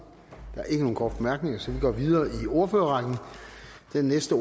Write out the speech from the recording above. der er ikke nogen korte bemærkninger så vi går videre i ordførerrækken den næste